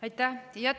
Aitäh!